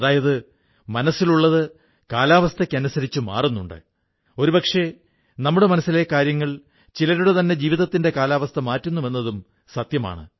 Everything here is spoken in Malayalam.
അതായത് മനസ്സിലുള്ളത് കാലാവസ്ഥയ്ക്കനുസരിച്ച് മാറുന്നുമുണ്ട് ഒരു പക്ഷേ നമ്മുടെ മനസ്സിലെ കാര്യങ്ങൾ ചിലരുടെ ജീവിതത്തിന്റെതന്നെ കാലാവസ്ഥ മാറ്റുന്നുവെന്നതും സത്യമാണ്